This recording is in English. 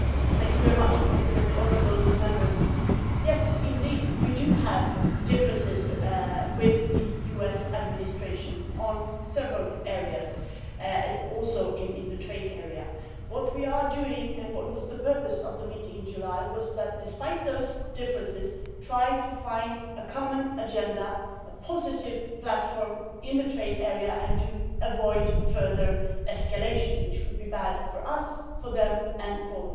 Mr President, honourable Members, yes, we do have differences with the US administration in several areas also in the trade area. What we are doing and what was the purpose of the meeting in July was that, despite those differences, we tried to find a common agenda, a positive platform in the trade area and to avoid further escalation, which would be bad for us, for them and for the world.